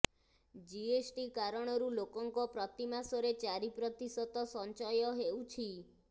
GST କାରଣରୁ ଲୋକଙ୍କ ପ୍ରତିମାସରେ ଚାରି ପ୍ରତିଶତ ସଞ୍ଚୟ ହେଉଛି